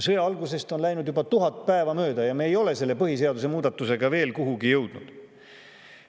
Sõja algusest on läinud juba 1000 päeva mööda, aga me ei ole selle põhiseaduse muudatusega veel kuhugi jõudnud.